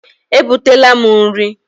E butela m nri.